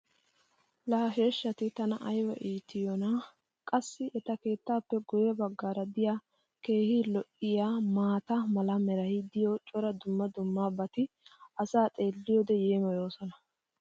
Laa ha sheeshshati tana ayba iitiyoonaa? Qassi eta keettaappe guye bagaara diya keehi lo'iyaa maata mala meray diyo cora dumma dumma qommobati asaa xeeliyoode yeemmoyoosona.